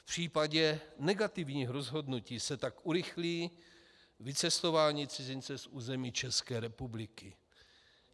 V případě negativních rozhodnutí se tak urychlí vycestování cizince z území České republiky.